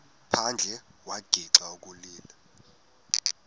phandle wagixa ukulila